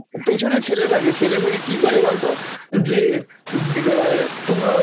পেছনে ছেলে থাকে, ছেলে থেকে কী করে বলতো? যে ব~ তোমার